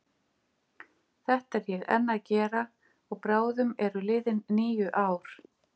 Þetta er ég enn að gera og bráðum eru liðin níu ár.